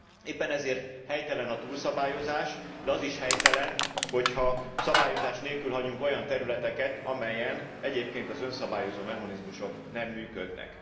Éppen ezért helytelen a túlszabályozás, de az is helytelen, hogy ha szabályozás nélkül hagyunk olyan területeket, amelyeken egyébként az önszabályozó mechanizmusok nem működnek.